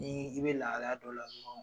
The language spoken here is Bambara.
Ni i bɛ lahalaya dɔ la dɔrɔn.